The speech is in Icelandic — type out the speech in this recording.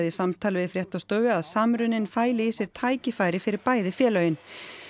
í samtali við fréttastofu að samruninn feli í sér tækifæri fyrir bæði félögin